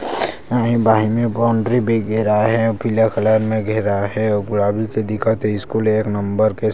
बाहिर मे बाउंड्री भी घिरा हे पीला कलर मे घेरा हे आगू मे दिखत हे स्कूल एक नंबर --